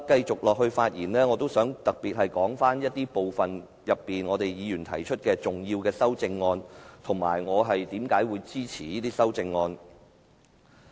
接下來，我特別想就一些議員提出的重要修正案發言，以及說出為何我會支持這些修正案。